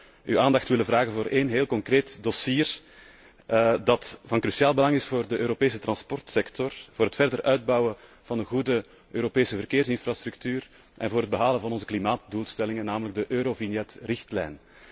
Ik zou uw aandacht willen vragen voor één heel concreet dossier dat van cruciaal belang is voor de Europese transportsector, voor het verder uitbouwen van een goede Europese verkeersinfrastructuur en voor het behalen van onze klimaatdoelstellingen, namelijk de eurovignetrichtlijn.